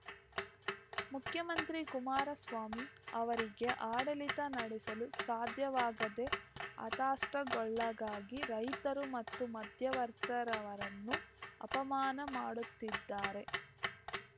ಮುಖ್ಯಮಂತ್ರಿ ಕುಮಾರಸ್ವಾಮಿ ಅವರಿಗೆ ಆಡಳಿತ ನಡೆಸಲು ಸಾಧ್ಯವಾಗದೆ ಹತಾಷ್ಟಗೊಳ್ಳಗಾಗಿ ರೈತರು ಮತ್ತು ಮಾಧ್ಯವರ್ತರವರನ್ನು ಅಪಮಾನ ಮಾಡುತ್ತಿದ್ದಾರೆ